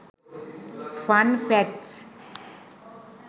fun facts